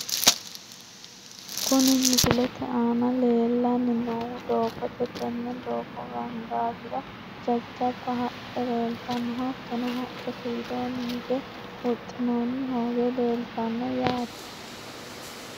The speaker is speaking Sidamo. Kuni misilete aana leellanni noohu doogote tenne doogo gaangaawira jajjabba haqqe leeltanno, hattono haqqete widoonni higge huxxinoonni hoowe leeltanno yaate.